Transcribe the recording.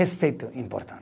Respeito é